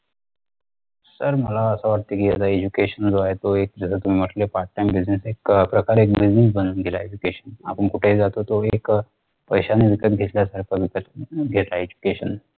sir मला असं वाटतं कि याला education जो ए तो एक जस तुम्ही म्हटले part time business एक प्रकारे business बनून गेला ए education आपण कुठे जातो तो एक अं पैशाने विकत घेतल्यासारखा वित्त घेतात education